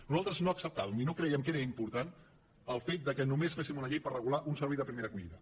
nosaltres no acceptàvem i no crèiem que fos important el fet que només féssim una llei per regular un servei de primera acollida